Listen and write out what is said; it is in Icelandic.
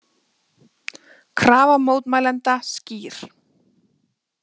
Krafa mótmælenda skýr